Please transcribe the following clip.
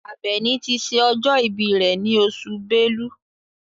Àbẹ̀ní ti ṣe ọjọ́ ìbí rẹ̀ ní oṣù Bẹ́lú.